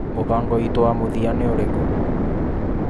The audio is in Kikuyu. Mũbango witũ wa mũthia nĩ ũrikũ?